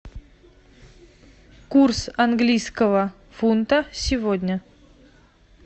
курс английского фунта сегодня